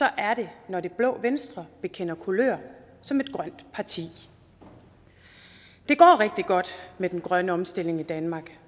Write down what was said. er det når det blå venstre bekender kulør som et grønt parti det går rigtig godt med den grønne omstilling i danmark